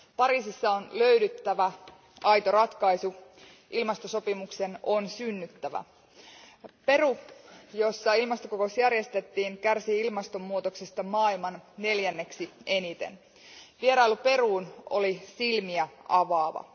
Pariisissa on löydettävä aito ratkaisu, ilmastosopimuksen on synnyttävä. Peru, jossa ilmastokokous järjestettiin, kärsii ilmastonmuutoksesta neljänneksi eniten maailmassa. Vierailu Peruun oli silmiä avaava.